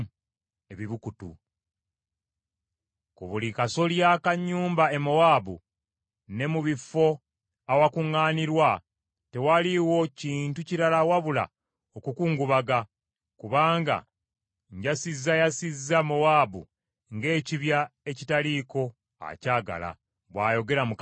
Ku buli kasolya ka nnyumba e Mowaabu ne mu bifo awakuŋŋaanirwa, tewaliwo kintu kirala wabula okukungubaga, kubanga njasizzayasizza Mowaabu ng’ekibya ekitaliiko akyagala,” bw’ayogera Mukama Katonda.